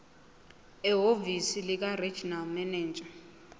ehhovisi likaregional manager